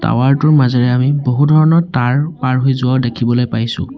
Tower টোৰ মাজেৰে আমি বহু ধৰণৰ তাঁৰ পাৰ হৈ যোৱাও দেখিবলৈ পাইছোঁ।